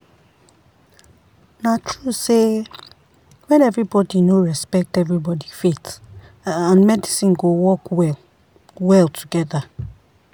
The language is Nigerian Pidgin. na true sey when everybody no respect everybody faith and medicine go work well-well together.